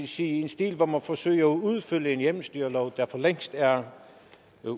sige stil hvor man forsøger at udfylde en hjemmestyrelov der for længst er